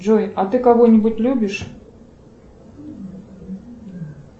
джой а ты кого нибудь любишь